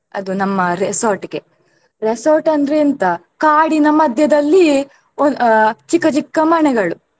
ಅದು ನಮ್ಮ resort ಗೆ. Resort ಅಂದ್ರೆ ಎಂತ ಕಾಡಿನ ಮಧ್ಯೆದಲ್ಲಿ ಒಂದ್~ ಆ ಚಿಕ್ಕ ಚಿಕ್ಕ ಮನೆಗಳು.